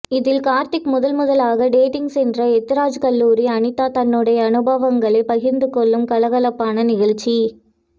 இதில் கார்த்திக் முதல்முதலாக டேட்டிங் சென்ற எத்திராஜ் கல்லூரி அனிதா தன்னுடைய அனுபவங்களை பகிர்ந்துகொள்ளும் கலகலப்பான நிகழ்ச்சி